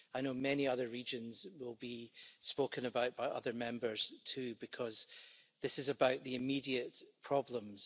I know many other regions will be spoken about by other Members too, because this is about the immediate problems.